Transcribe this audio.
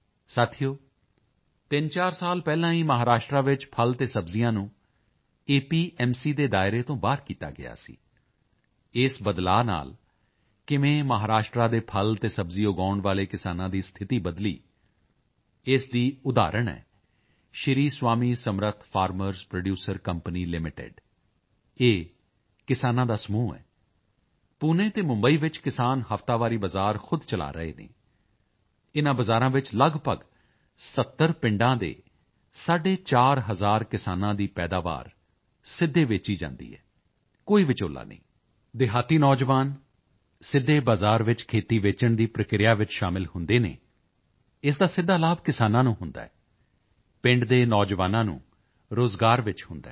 ਸਾਥੀਓ 34 ਸਾਲ ਪਹਿਲਾਂ ਹੀ ਮਹਾਰਾਸ਼ਟਰ ਵਿੱਚ ਫਲ ਅਤੇ ਸਬਜ਼ੀਆਂ ਨੂੰ ਏਪੀਐਮਸੀ ਦੇ ਦਾਇਰੇ ਤੋਂ ਬਾਹਰ ਕੀਤਾ ਗਿਆ ਸੀ ਇਸ ਬਦਲਾਓ ਨਾਲ ਕਿਵੇਂ ਮਹਾਰਾਸ਼ਟਰ ਦੇ ਫਲ ਅਤੇ ਸਬਜ਼ੀ ਉਗਾਉਣ ਵਾਲੇ ਕਿਸਾਨਾਂ ਦੀ ਸਥਿਤੀ ਬਦਲੀ ਇਸ ਦਾ ਉਦਾਹਰਣ ਹੈ Shri Swami Samarth farmers producer company limited ਇਹ ਕਿਸਾਨਾਂ ਦਾ ਸਮੂਹ ਹੈ ਪੂਨੇ ਅਤੇ ਮੁੰਬਈ ਵਿੱਚ ਕਿਸਾਨ ਹਫ਼ਤਾਵਾਰੀ ਬਾਜ਼ਾਰ ਖੁਦ ਚਲਾ ਰਹੇ ਹਨ ਇਨ੍ਹਾਂ ਬਾਜ਼ਾਰਾਂ ਵਿੱਚ ਲਗਭਗ 70 ਪਿੰਡਾਂ ਦੇ ਸਾਢੇ 4 ਹਜ਼ਾਰ ਕਿਸਾਨਾਂ ਦੀ ਪੈਦਾਵਾਰ ਸਿੱਧੇ ਵੇਚੀ ਜਾਂਦੀ ਹੈ ਕੋਈ ਵਿਚੌਲਾ ਨਹੀਂ ਦਿਹਾਤੀ ਨੌਜਵਾਨ ਸਿੱਧੇ ਬਜ਼ਾਰ ਵਿੱਚ ਖੇਤੀ ਅਤੇ ਵੇਚਣ ਦੀ ਪ੍ਰਕਿਰਿਆ ਵਿੱਚ ਸ਼ਾਮਿਲ ਹੁੰਦੇ ਹਨ ਇਸ ਦਾ ਸਿੱਧਾ ਲਾਭ ਕਿਸਾਨਾਂ ਨੂੰ ਹੁੰਦਾ ਹੈ ਪਿੰਡ ਦੇ ਨੌਜਵਾਨਾਂ ਨੂੰ ਰੋਜ਼ਗਾਰ ਵਿੱਚ ਹੁੰਦਾ ਹੈ